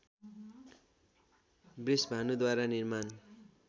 वृषभानुद्वारा निर्माण